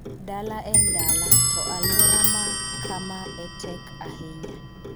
Dala en dala, to alwora ma kama e tek ahinya.